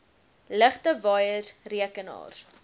ligte waaiers rekenaars